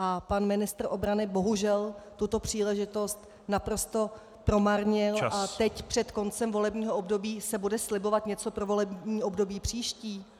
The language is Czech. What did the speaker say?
A pan ministr obrany bohužel tuto příležitost naprosto promarnil a teď před koncem volebního období se bude slibovat něco pro volební období příští.